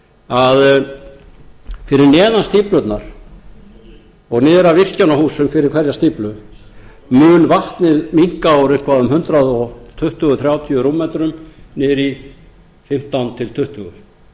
að fyrir neðan stíflurnar og niður að virkjanahúsum fyrir hverja stíflu mun vatnið minnka úr eitthvað um hundrað tuttugu til hundrað þrjátíu rúmmetrum niður í fimmtán til tuttugu þannig að